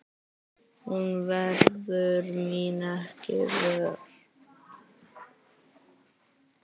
Hún verður mín ekki vör.